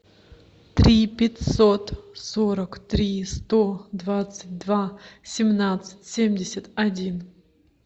три пятьсот сорок три сто двадцать два семнадцать семьдесят один